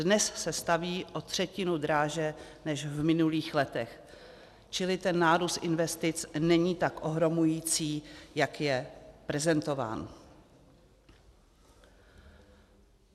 Dnes se staví o třetinu dráže než v minulých letech, čili ten nárůst investic není tak ohromující, jak je prezentován.